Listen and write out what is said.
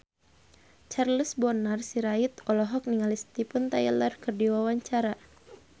Charles Bonar Sirait olohok ningali Steven Tyler keur diwawancara